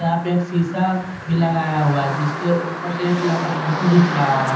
यहां पे एक शीशा कोई लगाया हुआ है जिसके ऊपर से एक लड़का फोटो घिंच रहा है।